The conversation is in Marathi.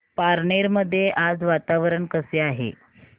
पारनेर मध्ये आज वातावरण कसे आहे